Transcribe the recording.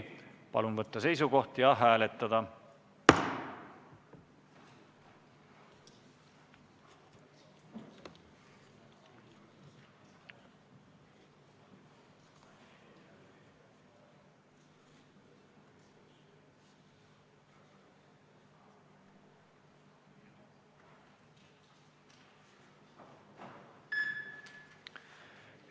Palun võtta seisukoht ja hääletada!